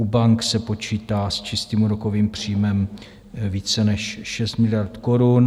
U bank se počítá s čistým úrokovým příjmem více než 6 miliard korun.